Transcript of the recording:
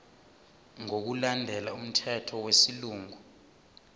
ngokulandela umthetho wesilungu